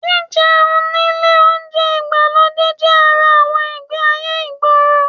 Jíjẹun nílé oúnjẹ ìgbàlódé jẹ́ ara àwọn ìgbé-ayé ìgboro